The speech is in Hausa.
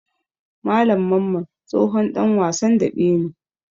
Malam Mamman tsohon ɗan wasan daɓe ne.